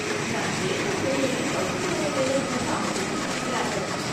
நான் கேட்ட உடனேயே பகுதி நேர வேலை ஒன்று அமைத்துக் கொடுத்திருக்கிறார்கள்.